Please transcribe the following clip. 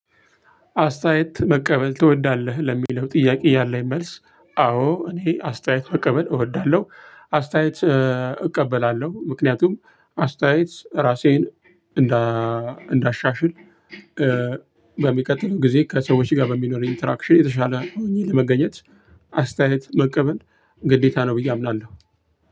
አስተያየት መቀበል ትወዳለህ ለሚለው ጥያቄ ያለኝ መልስ አዎ እኔ አስተያየት መቀበል እወዳለሁ። አስተያየት እቀበላለሁ ምክንያቱም አስተያየት እራሴን እንዳሻሽል በሚቀጥለው ጊዜ ከሰዎች ጋር በሚኖረኝ ኢንተራክሽን የተሻለ ሆኜ ለመገኘት። አስተያየት መቀበል ግዴታ ነው ብዬ አምናለሁ።